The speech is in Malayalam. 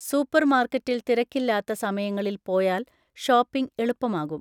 സൂപ്പർമാർക്കറ്റിൽ തിരക്കില്ലാത്ത സമയങ്ങളിൽ പോയാൽ ഷോപ്പിംഗ് എളുപ്പമാകും.